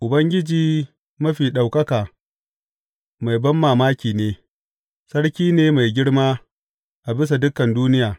Ubangiji Mafi Ɗaukaka mai banmamaki ne, Sarki ne mai girma a bisa dukan duniya!